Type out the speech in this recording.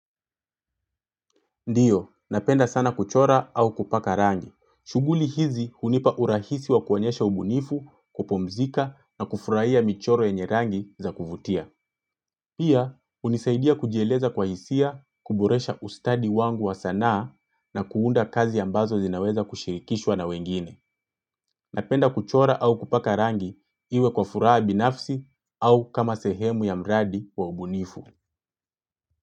Ndiyo, napenda sana kuchora au kupaka rangi. Shughuli hizi hunipa urahisi wa kuonyesha ubunifu, kupumzika na kufurahia michoro yenye rangi za kuvutia. Pia, hunisaidia kujieleza kwa hisia, kuboresha ustadi wangu wa sanaa na kuunda kazi ambazo zinaweza kushirikishwa na wengine. Napenda kuchora au kupaka rangi iwe kwa furaha binafsi au kama sehemu ya mradi wa ubunifu.